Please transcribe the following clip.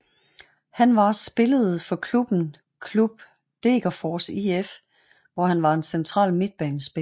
Han var spillede for klubben klub Degerfors IF hvor han var en central midtbanespiller